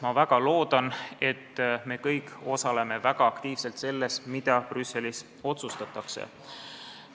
Ma väga loodan, et me kõik osaleme väga aktiivselt selles, mida Brüsselis otsustatakse.